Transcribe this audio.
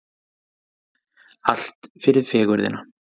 Allt fyrir fegurðina